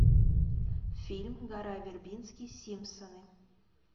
фильм гора вербински симпсоны